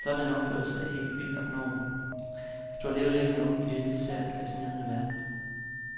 Sådan en opførsel er ikke vildt abnorm, hvis du har levet længe nok i denne sært fascinerende verden.